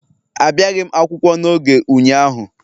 Abịaghi m akwụkwọ n'oge ụnyaahụ